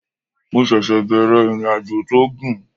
Mo ṣẹ̀ṣẹ̀ bẹ̀rẹ̀ ìrìnàjò tó gùn